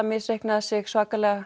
misreiknaði sig svakalega